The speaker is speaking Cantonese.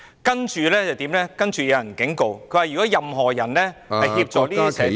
有人其後警告，如果任何人協助這些社團......